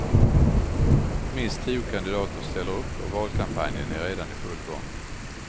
Minst tio kandidater ställer upp och valkampanjen är redan i full gång.